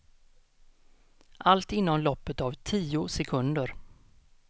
Allt inom loppet av tio sekunder.